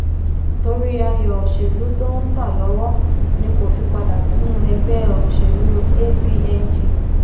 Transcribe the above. torí ayọ òṣèlú tó ń ta lọwọ ni kò fi padà sínú ẹgbẹ òṣèlú apng